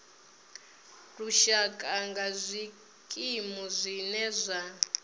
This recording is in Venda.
lushaka nga zwikimu zwine zwa